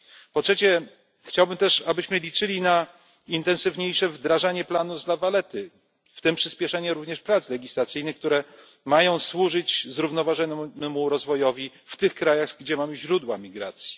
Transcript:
Po trzecie, chciałbym też, abyśmy liczyli na intensywniejsze wdrażanie planu z La Valletty, w tym przyspieszenie również prac legislacyjnych, które mają służyć zrównoważonemu rozwojowi w krajach będących źródłem migracji.